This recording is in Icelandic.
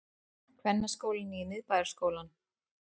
Kvennaskólinn í Miðbæjarskólann